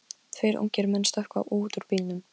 Tveir ungir menn stökkva út úr bílnum.